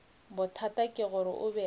bothata ke gore o be